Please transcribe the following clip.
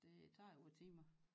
Det tager jo timer